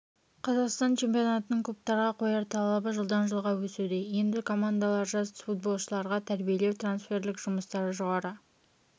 қазақстан чемпионатының клубтарға қояр талабы жылдан жылға өсуде енді командалар жас футболшыларды тәрбиелеу трансферлік жұмыстарды жоғары